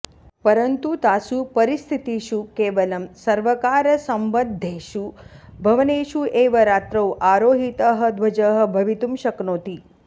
परन्तु तासु परिस्थितिषु केवलं सर्वकारसम्बद्धेषु भवनेषु एव रात्रौ आरोहितः ध्वजः भवितुं शक्नोति